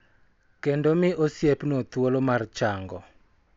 Kendo mi osiepno thuolo mar chango.